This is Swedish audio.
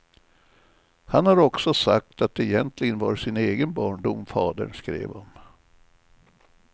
Han har också sagt att det egentligen var sin egen barndom fadern skrev om.